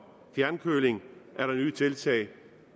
fjernkøling er der nye tiltag